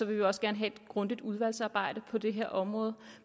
vi også gerne have et grundigt udvalgsarbejde på det her område